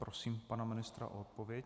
Prosím pana ministra o odpověď.